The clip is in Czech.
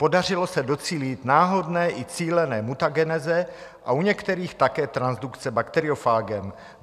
Podařilo se docílit náhodné i cílené mutageneze a u některých také transdukce bakteriofágem.